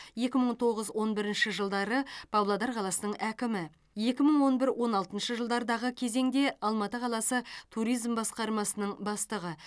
екі мың тоғыз он бірінші жылдары павлодар қаласының әкімі екі мың он бір он алтыншы жылдардағы кезеңде алматы қаласы туризм басқармасының бастығы